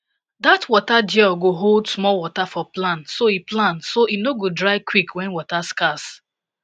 dat water gel go hold small water for plant so e plant so e no go dry quick when water scarce